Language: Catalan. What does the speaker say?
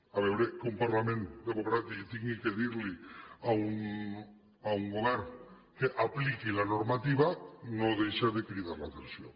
a veure que un parlament democràtic hagi de dir a un govern que apliqui la normativa no deixa de cridar l’atenció